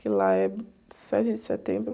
Que lá é sete de setembro.